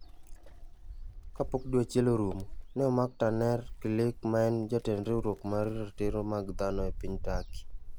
Ka pok dwe achiel orumo, ne omak Taner Kilic ma en Jatend Riwruok mar Ratiro mag Dhano e piny Turkey.